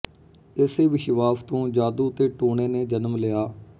ਇਸੇ ਵਿਸ਼ਵਾਸ ਤੋਂ ਜਾਦੂ ਤੇ ਟੂਣੇ ਨੇ ਜਨਮ ਲਿਆ